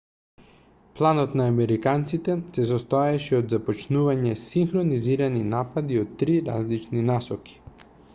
планот на американците се состоеше од започнување синхронизирани напади од три различни насоки